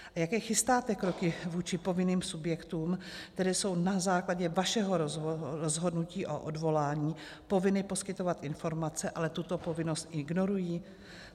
A jaké chystáte kroky vůči povinným subjektům, které jsou na základě vašeho rozhodnutí o odvolání povinny poskytovat informace, ale tuto povinnost ignorují?